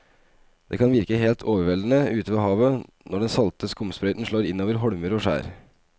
Det kan virke helt overveldende ute ved havet når den salte skumsprøyten slår innover holmer og skjær.